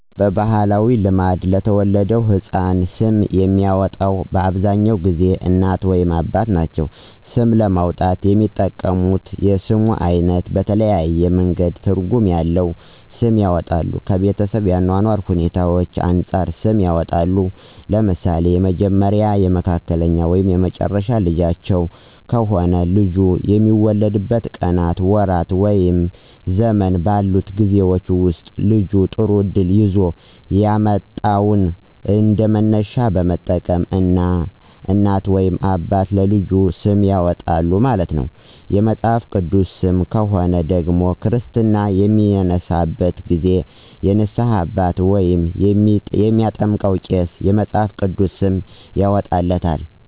በባህላዊ ልማድ ለተወለደው ህፃን ስም የሚያወጣው በአብዛኛውን ጊዜ እናት ወይም አባት ናቸው። ስም ለማውጣት የሚጠቀሙት የስም አይነት በተለያየ መንገድ ትርጉም ያለዉ ስም ያወጣሉ። ከቤተሰብ የአኗኗር ሁኔታዎች አንፃርም ሰም ያወጡለታል። ለምሳሌ የመጀመሪያ፣ የመካከለኛ ወይም የመጨረሻ ልጃቸው ከሆነ ልጁ በሚወለድበት ቀናት፣ ወራት ወይም ዘመን ባሉት ጊዜወች ወስጥ ልጁ ጥሩ እድል ይዞ የመጣውን እንደመነሻነት በመጠቀም እናት ወይም አባት ለልጃቸው ስም ያወጣሉ ማለት ነው። የመጽሐፍ ቅዱስ ሰም ከሆነ ደግሞ ክርስትና በሚነሳበት ጊዜ የንስሃ አባት ወይም የሚያጠምቀው ቄስ የመፅሐፍ ቅዱስ ስም ያወጣለታል።